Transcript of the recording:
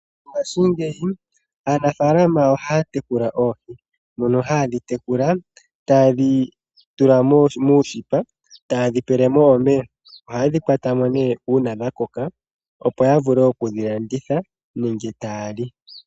Mongaashingeyi aanafaalama ohaa tekula oohi mono haye dhi tekula taye dhi tula muushipa taye dhi pele mo omeya. Ohaye dhi kwata mo nee uuna dha koka, opo ya vule okudhi landitha nenge taa li.